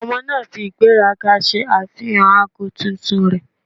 Ọmọ naa fi igberaga ṣe afihan aago tuntun rẹ.